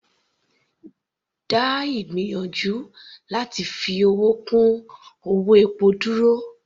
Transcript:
Dá ìgbìyànjú láti fi owó kún owó epo dúró.